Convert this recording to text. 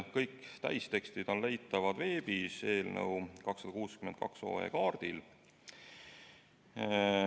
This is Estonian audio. Kõik täistekstid on leitavad veebis eelnõu 262 kaardil.